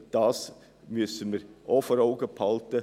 Auch dies müssen wir vor Augen haben.